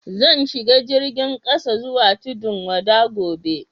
Zan shiga jirigin kasa zuwa Tudun-wada gobe.